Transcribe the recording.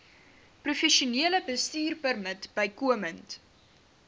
professionele bestuurpermit bykomend